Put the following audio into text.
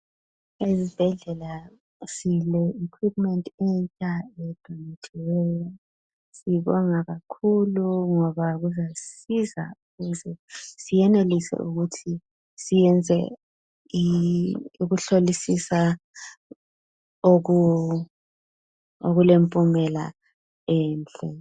Ezibhedlela sile ikhwiphumenti entsha edonethiweyo. Sibonga kakhulu ngoba kuzasisiza ukuze siyenelise ukuthi siyenza ukuhlolisisa okulempumela enhle.